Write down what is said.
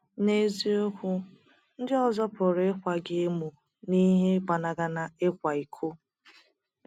N’eziokwu, ndị ọzọ pụrụ ịkwa gị emo n’ihi ịgbanaghana ịkwa iko.